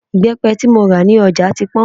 Ìbẹ́pẹ tí mo rà ní ọjà ti pọ́n